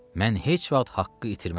Mən heç vaxt haqqı itirmərəm.